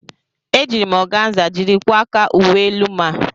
Ejiiri m ọganza jiri kwaa aka uwe elu m a.